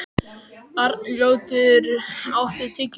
Arnljótur, áttu tyggjó?